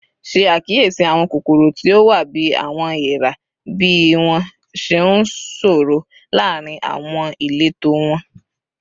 Ṣe akiyesi awọn kokoro ti o wa bi "awọn eera" bi wọn ṣe nsọrọ laarin awọn ileto wọn